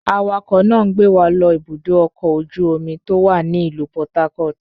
Awakọ̀ náà ń gbé wa lọ Ibùdó-ọkọ̀ ojú-omi tó wà ní ìlú Port Harcourt.